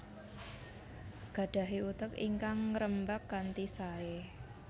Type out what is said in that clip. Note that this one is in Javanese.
Gadahi utek ingkang ngerembag kanthi sae